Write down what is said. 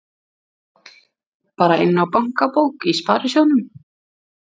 Páll: Bara inná bankabók í sparisjóðnum?